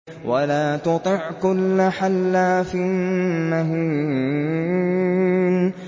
وَلَا تُطِعْ كُلَّ حَلَّافٍ مَّهِينٍ